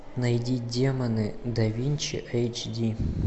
найди демоны да винчи эйч ди